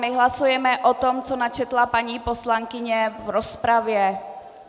My hlasujeme o tom, co načetla paní poslankyně v rozpravě.